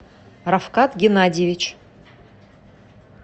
рафкат геннадьевич